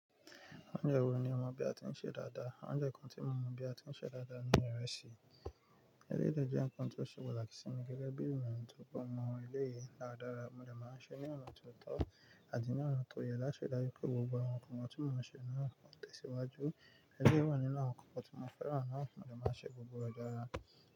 Oúnjẹ wo ni ọmọ bí a ti ń sè dáadáa? Oúnjẹ kan tí mo mọ̀ bí a ti ń sè dáadáa ni ìrẹsì. Eléyìí de jẹ́ nǹkan tó ṣe pataki sinmi gẹ́gẹ́ bí i ènìyàn tó kúmọ ilé yìí dáradára. Mo dẹ máa ń sè é ní ọ̀nà tó tọ́ àti ní ọ̀nà tó yẹ láti dájú pé gbogbo àwọn ọkùnrin tí mo mọ̀ ṣe nǹkan tẹ̀síwájú. Eléyi wà nínú àwọn nǹkan tí mo fẹ́ràn náà, mo dẹ máa ń sè gbogbo rẹ̀ dáradára.